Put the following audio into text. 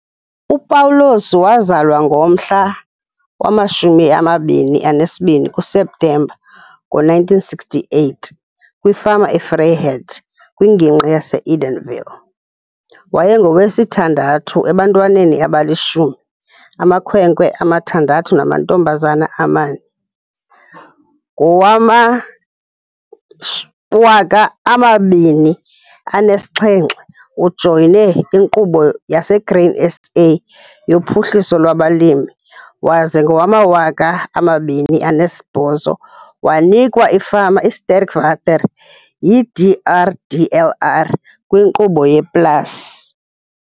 UPaulus wazalwa ngomhla wama-22 kuSeptemba ngo-1968 kwifama iVryheid kwiNgingqi yaseEdenville. Wayengowesithandathu ebantwaneni abalishumi, amakhwenkwe amathandathu namantombazana amane. Ngowama-2007, ujoyine iNkqubo yaseGrain SA yoPhuhliso lwabaLimi waze ngo-2008, wanikwa ifama iiSterkwater yiDRDLR kwiNkqubo yePLAS.